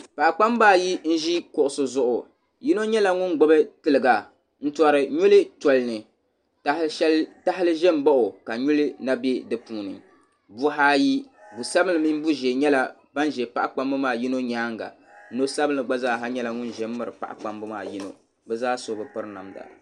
Paɣa kpamba ayi zi kuɣisi zuɣu yino nyɛla ŋun gbibi tilga n tɔri nyuli tɔlini tahili zɛ n baɣi oka nyuli na bɛ di puuni buhi ayi bua sabinli mini bua zɛɛ yɛla ba ni zɛ paɣa kpamba maa yino yɛanga noo sabinli gba zaa nyɛla ŋuni zɛ n baɣi paɣa kpambi maa yino bi zaa so bi piri namda.